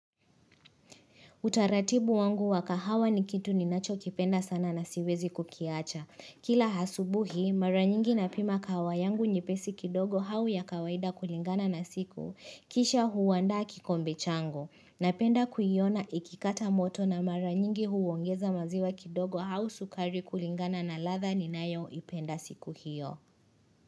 Utaratibu wangu wakahawa ni kitu ninacho kipenda sana na siwezi kukiacha. Kila asubuhi, mara nyingi napima kahawa yangu nyepesi kidogo au ya kawaida kulingana na siku, kisha huwandaa kikombe changu. Napenda kuyiona ikikata moto na mara nyingi huongeza maziwa kidogo au sukari kulingana na ladha ni nayo ipenda siku hiyo.